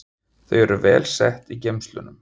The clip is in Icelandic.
Þau eru vel sett í geymslunum.